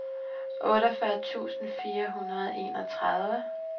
otteogfyrre tusind fire hundrede og enogtredive